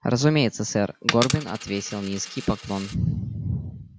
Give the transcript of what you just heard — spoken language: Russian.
разумеется сэр горбин отвесил низкий поклон